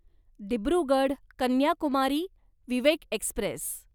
Dibrugarh Kanyakumari Vivek Express